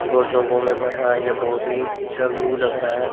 गोल चोंगो में भर रहा है यह बहुत ही अच्छा व्यू लग रहा है।